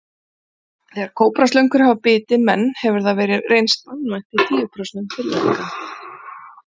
Þegar kóbraslöngur hafa bitið menn hefur hefur það reynst banvænt í tíu prósentum tilvika.